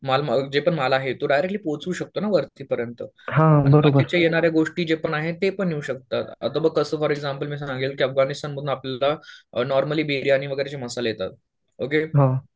माल जे पण माल आहे तो डायरेक्ट्ली पोहचवू शकतो ना वरतीपर्यंत. येणाऱ्या गोष्टी जे पण आहेत ते पण येऊ शकतं. आता बघ कसं फॉर एक्झाम्पल मी सांग्लायला गेलो की अफगाणिस्थानवरुन आपल्याला नॉर्मली बिर्याणी वगैरे चे मसाले येतात. ओके